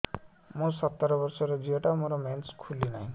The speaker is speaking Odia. ମୁ ସତର ବର୍ଷର ଝିଅ ଟା ମୋର ମେନ୍ସେସ ଖୁଲି ନାହିଁ